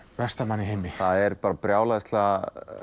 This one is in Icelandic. versta mann í heimi það er brjálæðislega